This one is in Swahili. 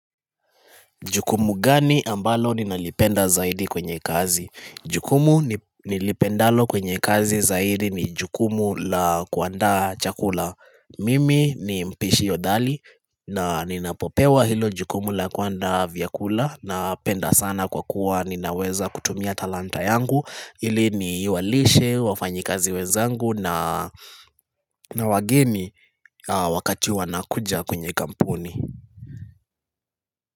Jukumu gani ambalo ninalipenda zaidi kwenye kazi? Jukumu nilipendalo kwenye kazi zaidi ni jukumu la kuandaa chakula. Mimi ni mpishi hodari na ninapopewa hilo jukumu la kuandaa vyakula napenda sana kwa kuwa ninaweza kutumia talanta yangu ili ni walishe wafanyi kazi wezangu na wageni wakati wanakuja kwenye kampuni.